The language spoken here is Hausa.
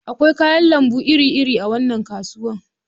Akwai kayan lambu iri-iri a wannan kasuwa.